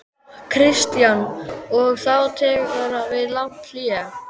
Kristján: Og þá tekur við langt hlé?